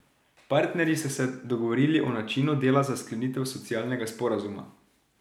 Partnerji so se dogovorili o načinu dela za sklenitev socialnega sporazuma.